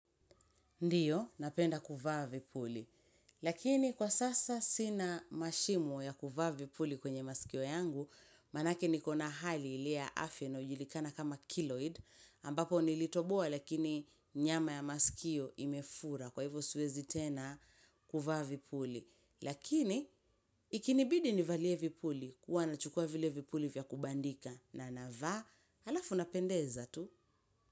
Ndiyo, napenda kuvaa vipuli. Lakini kwa sasa sina mashimo ya kuvaa vipuli kwenye masikio yangu, manake nikona hali ile ya afya inayojulikana kama kiloid, ambapo nilitoboa lakini nyama ya masikio imefura kwa hivo swezi tena kuvaa vipuli. Lakini, ikinibidi nivalie vipuli huwa nachukua vile vipuli vya kubandika na navaa alafu napendeza tu.